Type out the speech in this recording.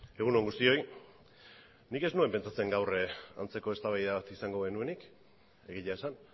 egun on guztioi nik ez nuen pentsatzen gaur antzeko eztabaida bat izango genuenik egia esan